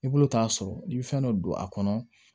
I bolo t'a sɔrɔ i bɛ fɛn dɔ don a kɔnɔ